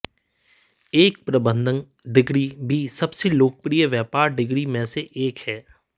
एक प्रबंधन डिग्री भी सबसे लोकप्रिय व्यापार डिग्री में से एक है